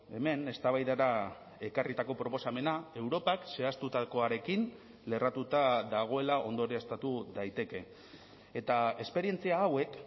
hemen eztabaidara ekarritako proposamena europak zehaztutakoarekin lerratuta dagoela ondorioztatu daiteke eta esperientzia hauek